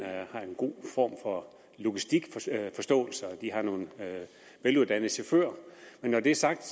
har en god form for logistikforståelse og de har nogle veluddannede chauffører men når det er sagt